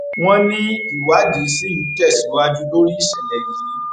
wọn níwádìí ṣì ń tẹsíwájú lórí ìṣẹlẹ yìí